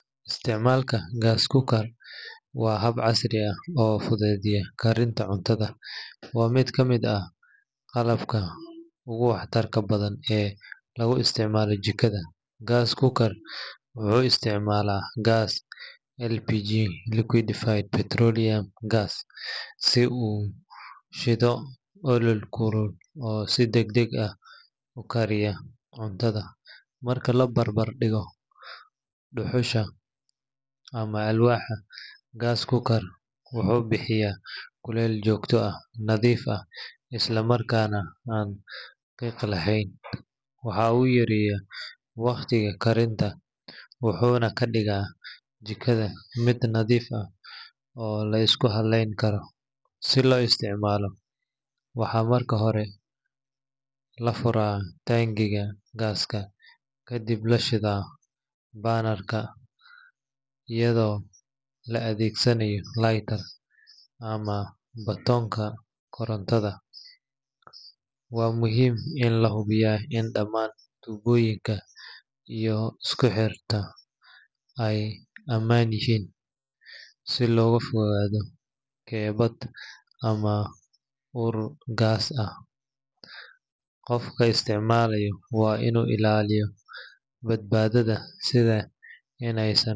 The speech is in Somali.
Isticmaalka gas cooker waa hab casri ah oo fududeeya karinta cuntada, waana mid ka mid ah qalabka ugu waxtarka badan ee lagu isticmaalo jikada. Gas cooker wuxuu isticmaalaa gaaska LPG (liquefied petroleum gas) si uu u shido olol kulul oo si degdeg ah u kariya cuntada. Marka la barbar dhigo dhuxusha ama alwaaxda, gas cooker wuxuu bixiyaa kuleyl joogto ah, nadiif ah, isla markaana aan qiiq lahayn. Waxa uu yareeyaa waqtiga karinta, wuxuuna ka dhigaa jikada mid nadiif ah oo la isku halleyn karo. Si loo isticmaalo, waxaa marka hore la furaa taangiga gaaska, kadibna la shitaa burner-ka iyadoo la adeegsanayo lighter ama batoonka koronto. Waa muhiim in la hubiyo in dhammaan tubooyinka iyo isku xirka ay ammaan yihiin si looga fogaado kebbad ama ur gaas ah. Qofka isticmaalaya waa inuu ilaaliyo badbaadada, sida in aysan.